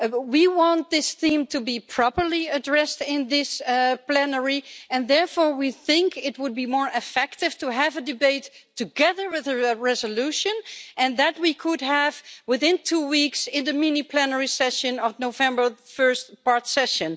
We want this theme to be properly addressed in this plenary, and therefore we think it would be more effective to have a debate together with a resolution, and that we could have it within two weeks in the mini-plenary session of November the first part-session.